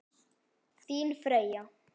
Þín Freyja.